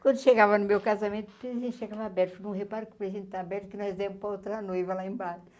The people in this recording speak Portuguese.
Quando chegava no meu casamento, o presente chegava aberto, falou não repara que o presente está aberto, é que nós demos para a outra noiva lá embaixo.